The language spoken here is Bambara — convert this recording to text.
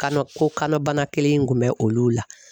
Kanɔ ko kanɔ bana kelen in kun bɛ olu la